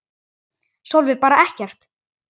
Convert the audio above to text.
Sólveig: Bara ekkert?